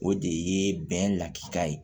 O de ye bɛn lakika ye